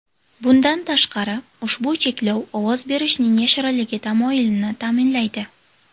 Bundan tashqari, ushbu cheklov ovoz berishning yashirinligi tamoyilini ta’minlaydi.